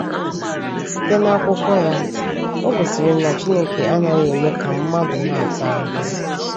Site n’akwụkwọ ya, o gosiri m na Chineke anaghị eme ka mmadụ na-ata ahụhụ.